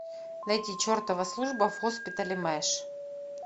найди чертова служба в госпитале мэш